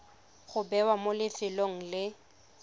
go bewa mo lefelong le